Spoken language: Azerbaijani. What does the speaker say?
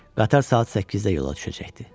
Qatar saat 8-də yola düşəcəkdi.